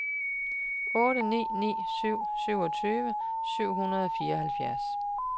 otte ni ni syv syvogtyve syv hundrede og fireoghalvfjerds